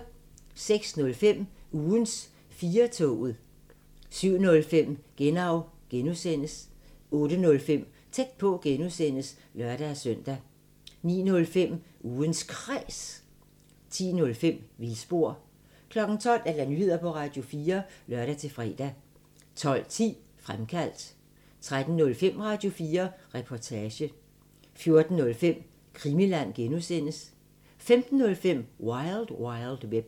06:05: Ugens 4-toget 07:05: Genau (G) 08:05: Tæt på (G) (lør-søn) 09:05: Ugens Kræs 10:05: Vildspor 12:00: Nyheder på Radio4 (lør-fre) 12:10: Fremkaldt 13:05: Radio4 Reportage 14:05: Krimiland (G) 15:05: Wild Wild Web